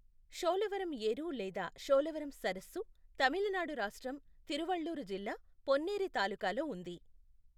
షోలవరం యేరు లేదా షోలవరం సరస్సు తమిళనాడు రాష్ట్రం, తిరువళ్లూరు జిల్లా, పొన్నేరి తాలూకాలో ఉంది.